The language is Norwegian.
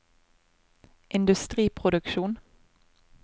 industriproduksjon